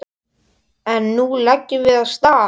En nú leggjum við af stað!